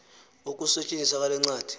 ukusetyenziswa kwale ncwadi